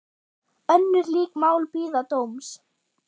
Önnur lík mál bíða dóms.